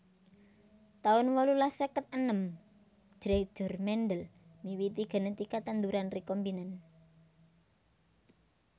taun wolulas seket enem Gregor Mendel miwiti genetika tanduran rekombinan